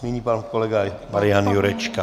Nyní pan kolega Marian Jurečka.